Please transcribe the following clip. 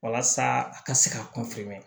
Walasa a ka se ka kunfɛ